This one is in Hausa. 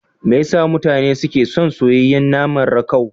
Me yasa mutane suke son soyayyen nama rakau?